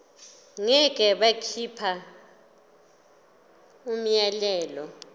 ngeke bakhipha umyalelo